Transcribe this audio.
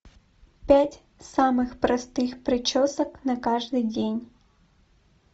пять самых простых причесок на каждый день